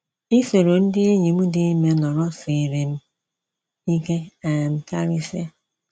Isoro ndị enyi m dị ime nọrọ siiri m ike um karịsịa.